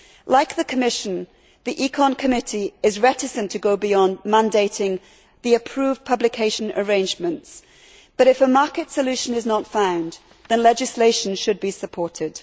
Like the Commission, the Committee on Economic and Monetary Affairs is reticent to go beyond mandating the approved publication arrangements, but if a market solution is not found, then legislation should be supported.